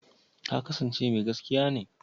Ta kasance mai gaskiya ne?